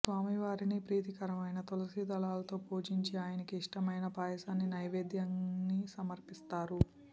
స్వామివారిని ప్రీతికరమైన తులసిదళాలతో పూజించి ఆయనకి ఇష్టమైన పాయసాన్ని నైవేద్యాన్ని సమర్పిస్తారు